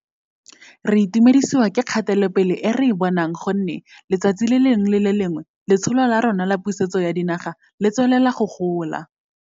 Re itumedisiwa ke kgatelopele e re e bonang gonne letsatsi le lengwe le le lengwe Letsholo la rona la Pusetso ya Dinaga le tswelela go gola.